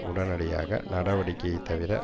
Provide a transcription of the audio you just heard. உடனடியாக நடவடிக்கையை தவிர